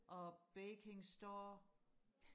og baking store